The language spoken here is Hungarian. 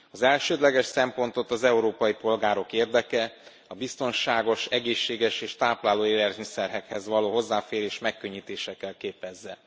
Az elsődleges szempontot az európai polgárok érdeke, a biztonságos, egészséges és tápláló élelmiszerekhez való hozzáférés megkönnyítése kell képezze.